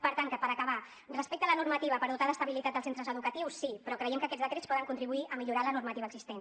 per tant per acabar respecte a la normativa per dotar d’estabilitat els centres educatius sí però creiem que aquests decrets poden contribuir a millorar la normativa existent